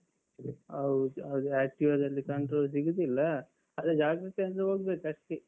ಹೌದು ಹೌದು. Activa ದಲ್ಲಿ ಅಂದ್ರೆ control ಸಿಗುದಿಲ್ಲ. ಅದೇ ಜಾಗೃತೆಯಲ್ಲಿ ಹೋಗ್ಬೇಕಷ್ಟೆ.